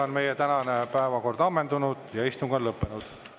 Meie tänane päevakord on ammendunud ja istung on lõppenud.